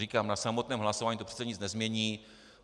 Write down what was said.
Říkám, na samotném hlasování to přece nic nezmění.